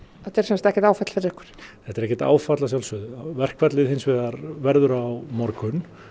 þetta er sem sagt ekkert áfall fyrir ykkur þetta er ekkert áfall að sjálfsögðu verkfallið hins vegar verður á morgun